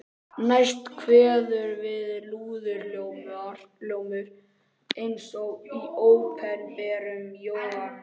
Næst kveður við lúðurhljómur eins og í Opinberun Jóhannesar